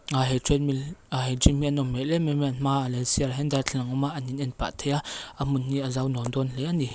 a he treadmill a he gym hi a nawm hmel em em an hmaah leh sirah hian darthlalang awm a an in en pah thei a a hmun hi a zau nuam dâwn hle ani.